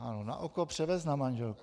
Ano, na oko převést na manželku.